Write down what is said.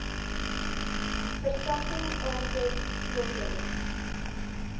vertakking aankoop teelbulle